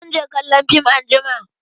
Zan je kallon fim anjima.